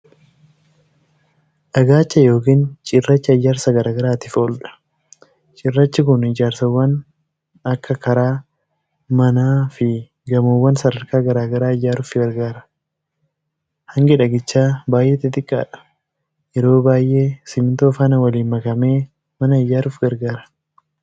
Dhagaacha yookiin cirracha ijaarsa garaagaraatiif ooludha. Cirrachi kun ijaarsawwan akka karaa, mana, fi gamoowwan sadarkaa garaa garaa ijaaruuf gargaara. hangi dhagichaa baay'ee xixiqqaadha. Yeroo baay'ee simintoo faana waliin makamee mana ijaaruuf gargaara.